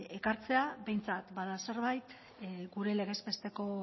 elkartzea behintzat bada zerbait gure legez besteko